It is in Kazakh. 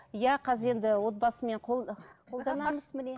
иә қазір енді отбасымен қолданамыз міне